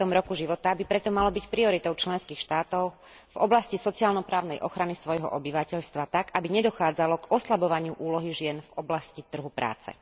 50. roku života by preto malo byť prioritou členských štátov v oblasti sociálno právnej ochrany svojho obyvateľstva tak, aby nedochádzalo k oslabovaniu úlohy žien v oblasti trhu práce.